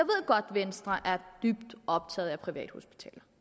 venstre er dybt optaget af privathospitaler